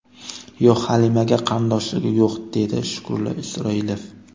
Yo‘q, Halimaga qarindoshligi yo‘q”, dedi Shukrullo Isroilov.